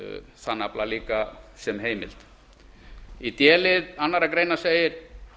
þann afla líka sem heimild í d lið annarrar greinar segir